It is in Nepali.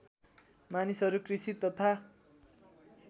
मानिसहरू कृषि तथा